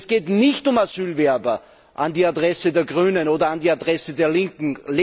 Und es geht nicht um Asylbewerber das an die Adresse der Grünen oder an die Adresse der Linken.